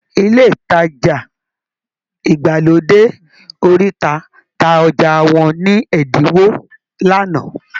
Ilé ìtajà ìgbàlódé oríta ta ọjà wọn ní ẹ̀dínwó lánàá